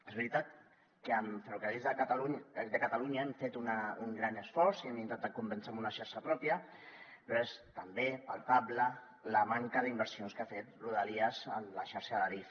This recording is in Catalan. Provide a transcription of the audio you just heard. és veritat que amb ferrocarrils de catalunya hem fet un gran esforç i hem intentat convèncer amb una xarxa pròpia però és també palpable la manca d’inversions que ha fet rodalies en la xarxa d’adif